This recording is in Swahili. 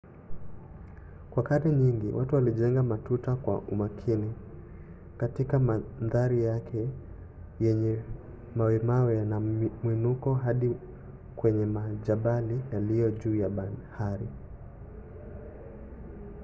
kwa karne nyingi watu walijenga matuta kwa umakini katika mandhari yenye mawemawe na mwinuko hadi kwenye majabali yaliyo juu ya bahari